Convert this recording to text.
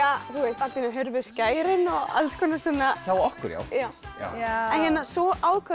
allt í einu hurfu skærin og alls konar hjá okkur svo ákváðum